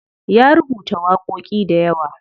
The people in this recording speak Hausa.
Ya rubuta waƙoƙi dayawa.